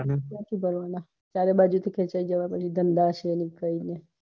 ક્યાંથી ભાર્વના ચારેય બાજુ થી ખેચાય જવા એવા ધંધા છે ની કોઈ બી